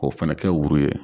K'o fana kɛ wuru ye.